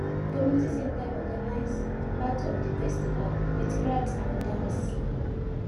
community center organize part of di festival with craft and dance